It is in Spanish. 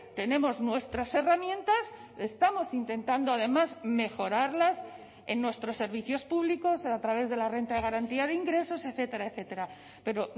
tenemos nuestras herramientas estamos intentando además mejorarlas en nuestros servicios públicos a través de la renta de garantía de ingresos etcétera etcétera pero